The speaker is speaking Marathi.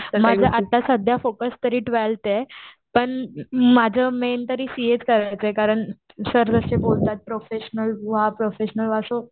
माझं आता सध्या फोकस तरी ट्वेलथे पण माझं मेन तरी फक्त आहे. कारण सर असे बोलतात प्रोफेशनल व्हा प्रोफेशनल व्हा सो